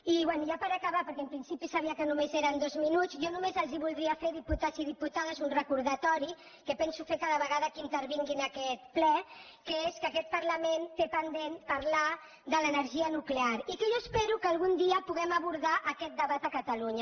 i bé ja per acabar perquè en principi sabia que només eren dos minuts jo només els voldria fer diputats i diputades un recordatori que penso fer cada vegada que intervingui en aquest ple que és que aquest parlament té pendent parlar de l’energia nuclear i que jo espero que algun dia puguem abordar aquest debat a catalunya